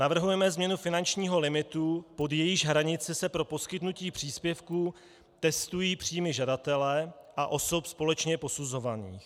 Navrhujeme změnu finančního limitu, pod jehož hranici se pro poskytnutí příspěvku testují příjmy žadatele a osob společně posuzovaných.